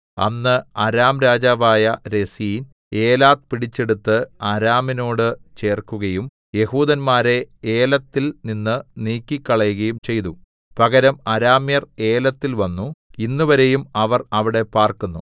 അന്ന് അരാം രാജാവായ Rezin Elath പിടിച്ചെടുത്ത് അരാമിനോട് ചേർക്കുകയും യെഹൂദന്മാരെ ഏലത്തിൽ നിന്ന് നീക്കിക്കളയുകയും ചെയ്തു പകരം അരാമ്യർ ഏലത്തിൽ വന്നു ഇന്നുവരെയും അവർ അവിടെ പാർക്കുന്നു